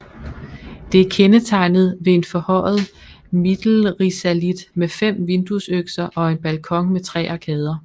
Det er kendetegnet ved en forhøjet Mittelrisalit med fem vinduesøkser og en balkon med tre arkader